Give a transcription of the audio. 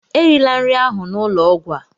Erila nri ahụ n'ụlọ ọgwụ a!